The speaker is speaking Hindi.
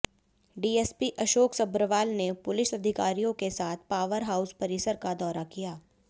डीएसपी अशोक सभ्रवाल ने पुलिस अधिकारियों के साथ पावर हाउस परिसर का दौरा किया